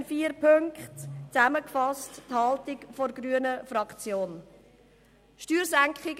In vier Punkten fasse ich die Haltung der grünen Fraktion noch einmal zusammen.